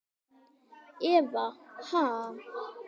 Eva: Ha?